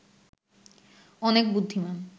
অনেক বুদ্ধিমান